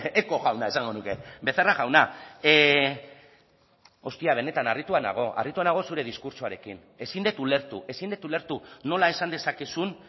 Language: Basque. eko jauna esango nuke becerra jauna ostia benetan harrituta nago harrituta nago zure diskurtsoarekin ezin dut ulertu ezin dut ulertu nola esan dezakezun